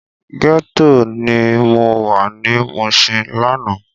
Gètó ni mó wá ni Mushin làná